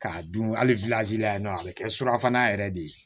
K'a dun hali la yen nɔ a bɛ kɛ surafana yɛrɛ de ye